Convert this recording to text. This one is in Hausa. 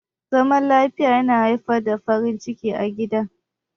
Zaman lafiya na haifar da farin ciki a gida.